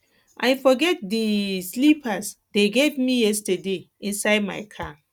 i forget the um slippers dey give me yesterday inside my car